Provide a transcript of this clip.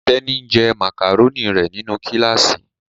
Teni, njé macaroni rẹ nínú kilasi.